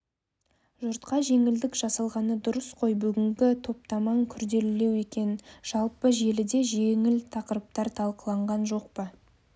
жұртқа жеңілдік жасалғаны дұрыс қой бүгінгі топтамаң күрделілеу екен жалпы желіде жеңіл тақырыптар талқыланған жоқ па